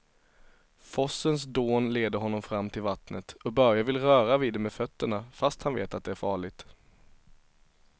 Forsens dån leder honom fram till vattnet och Börje vill röra vid det med fötterna, fast han vet att det är farligt.